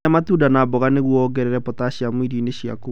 Rĩa matunda na mboga nĩguo wongerere potaciamu irio-inĩ ciaku.